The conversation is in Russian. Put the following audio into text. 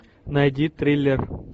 найди триллер